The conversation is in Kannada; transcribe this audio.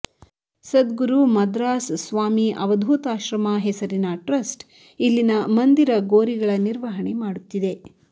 ಸದ್ಗುರು ಮದ್ರಾಸ್ ಸ್ವಾಮಿ ಅವಧೂತಾಶ್ರಮ ಹೆಸರಿನ ಟ್ರಸ್ಟ್ ಇಲ್ಲಿನ ಮಂದಿರ ಗೋರಿಗಳ ನಿರ್ವಹಣೆ ಮಾಡುತ್ತಿದೆ